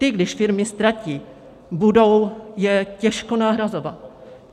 Ty když firmy ztratí, budou je těžko nahrazovat.